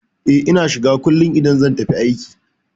E, Ina shiga kullum idan zan tafi aiki.